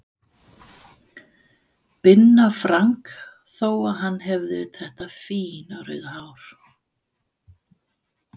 Binna Frank þó að hann hefði þetta fína rauða hár.